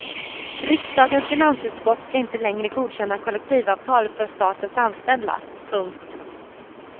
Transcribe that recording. Riksdagens finansutskott ska inte längre godkänna kollektivavtal för statens anställda. punkt